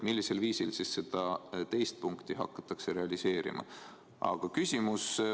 Millisel viisil seda teist punkti hakatakse realiseerima?